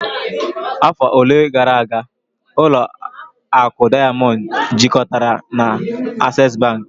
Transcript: Afọ ole na ole gara aga, ụlọ akụ Diamond jikọtara na Access bank